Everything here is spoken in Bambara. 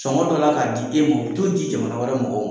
Sɔnkɔ dɔ la k'a di e ma, u be t'o di jamana wɛrɛ mɔgɔw ma.